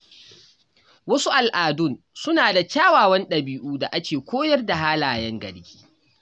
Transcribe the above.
Wasu al’adun suna da kyawawan dabi’u da ke koyar da halayen gari.